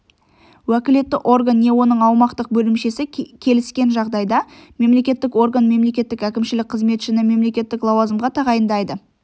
уәкілетті орган не оның аумақтық бөлімшесі келіскен жағдайда мемлекеттік орган мемлекеттік әкімшілік қызметшіні мемлекеттік лауазымға тағайындайды